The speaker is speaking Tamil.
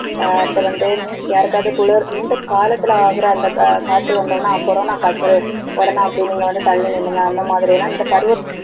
ஆஹ் அடுத்து வந்து, யாருக்காவது குளிர் இந்த காலத்துல ஆகிற ஆஹ் அந்த காய்ச்சல் வந்த உடனே corona காய்ச்சல் உடனே அப்படி நீங்க வந்து தள்ளி நில்லுங்க. அந்த மாதிரி எல்லாம் இந்த பருவ